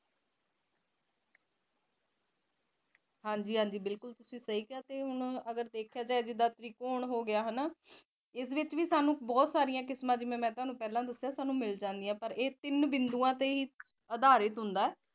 ਹਾਜੀ ਹਾਜੀ ਬਿਲਕੁਲ ਤੁਸੀ ਸਹੀ ਕਿਹਾ ਅਗਰ ਦੇਖਿਆ ਜਾਾਏ ਜਿਦਾ ਤ੍ਰਿਕੋਣ ਹੋ ਗਿਆ ਹਨਾ ਇਸ ਵਿੱੱਚ ਵੀ ਸਾਨੂੰ ਬਹੁਤ ਸਾਰੀਆਂ ਕਿਸਮਾ ਜਿਦਾ ਮੈ ਤੁਹਾਨੂੰ ਕਿਹਾ ਮਿਲ ਜਂਦੀਆਂ ਪਰ ਇਹ ਤਿੰਨ ਬਿਦੂਆਂ ਤੇ ਹੀ ਅਧਾਰਿਤ ਹੁੰਦਾ ਜੋ ਕਿ ਤ੍ਰਿਕੋਣ ਬਣਦਾ